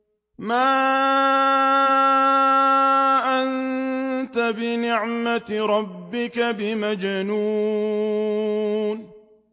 مَا أَنتَ بِنِعْمَةِ رَبِّكَ بِمَجْنُونٍ